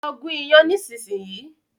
Lọ gún iyán nísìsiyìí!